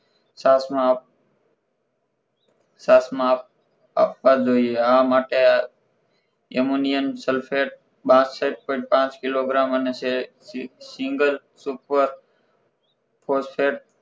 chance માં આપ chance માં આપ આપવા જોઈએ આ માટે Ammonium Sulphate બાસઠ point પાંચ કિલોગ્રામ અને single Super phosphat